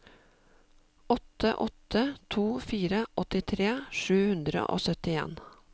åtte åtte to fire åttitre sju hundre og syttien